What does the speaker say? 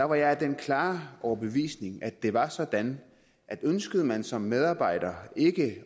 var jeg af den klare overbevisning at det var sådan at ønskede man som medarbejder ikke